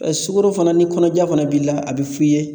Sukaro fana ni kɔnɔja fana b'i la a bɛ f'i ye.